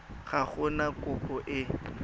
ga go na kopo e